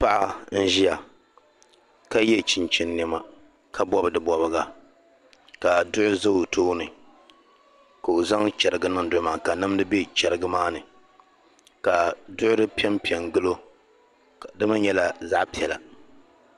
Paɣa n-ʒiya ka ye chinchini nɛma ka bɔbi di bɔbiɡa ka duɣu za o tooni ka o zaŋ chɛriɡa niŋ duɣu maa ni ka nimdi be chɛriɡa maa ni ka duɣuri pe m-pe n-ɡili o di mi nyɛla zaɣ' piɛla